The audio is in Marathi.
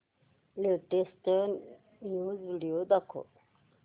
लेटेस्ट न्यूज व्हिडिओ दाखव